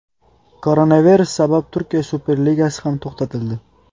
Koronavirus sabab Turkiya Superligasi ham to‘xtatildi.